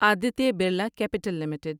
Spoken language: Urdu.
Aditya Birla Capital limited